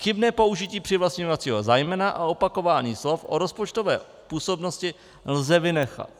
Chybné použití přivlastňovacího zájmena a opakování slov o rozpočtového působnosti lze vynechat.